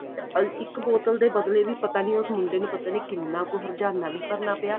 ਇੱਕ ਬੋਤਲ ਦੇ ਬਦਲੇ ਵੀ ਪਤਾ ਨੀ ਉਸ ਮੁੰਡੇ ਨੂੰ ਪਤਾ ਨੀ ਕਿੰਨਾ ਕੁ ਹਰਜਾਨਾ ਵੀ ਭਰਨਾ ਪਿਆ